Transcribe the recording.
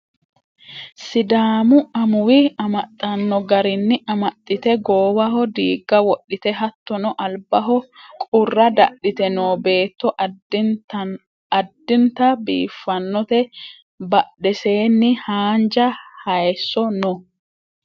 sidaamu amuwi amaxxanno garinni amaxxite goowaho diigga wodhite hattono albaho qurra dadhite noo beetto addinta biiffannote badheseenni haanja hayeesso no